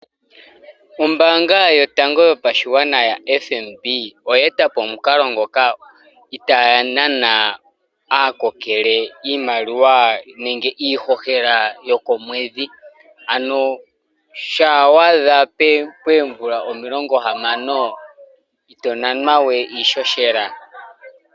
Ombanga yotango yopashigwana yaFNB oye etapo omukalo ngoka itaya nana aakokele iimaliwa nenge iihohela yokomwedhi, ano sha wa adha pomvula omilongo 60 ito nanwawe iihohela.